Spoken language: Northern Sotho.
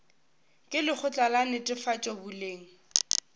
ke lekgotla la netefatšo boleng